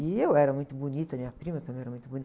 E eu era muito bonita, minha prima também era muito